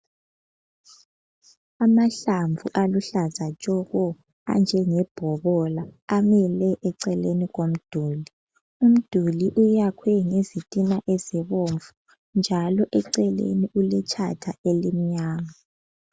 Amahlamvu aluhlaza tshoko anjengebhokola amile eceleni komduli. Umduli uyakhwe ngezitina ezibomvu njalo eceleni uletshatha elimnyama.